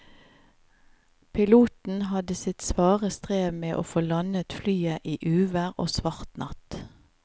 Piloten hadde sitt svare strev med å få landet flyet i uvær og svart natt.